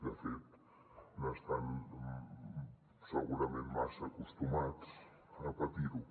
de fet n’estan segurament massa acostumats a patir ho